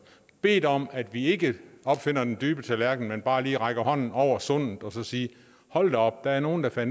bedt om at vi ikke opfinder den dybe tallerken men bare lige rækker hånden over sundet og siger hold da op der er nogle der